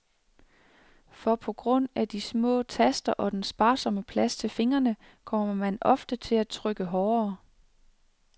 For på grund af de små taster og den sparsomme plads til fingrene, kommer man ofte til at trykke hårdere.